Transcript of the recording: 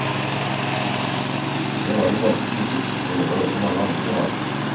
Det var de ganske sikkert, men det var det også mange andre som var.